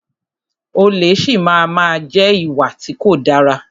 Olè si máa má jẹ́ ìwà tí kò dára.